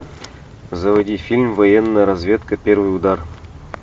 заводи фильм военная разведка первый удар